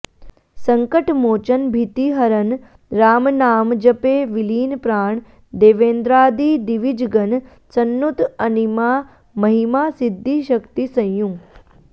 सङ्कटमोचन भीतिहरण रामनामजपे विलीन प्राण देवेन्द्रादि दिविजगण सन्नुत अणिमा महिमा सिद्धिशक्ति संयुत